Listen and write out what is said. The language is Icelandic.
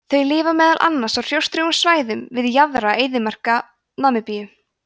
þau lifa meðal annars á hrjóstrugum svæðum við jaðra eyðimarka namibíu